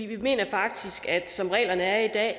vi mener faktisk at som reglerne er i dag